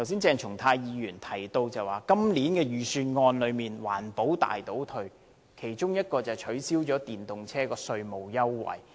鄭松泰議員剛才提到今年的預算案是環保大倒退，其中一項便是降低電動車的稅務優惠。